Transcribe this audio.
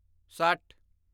ਸੱਠ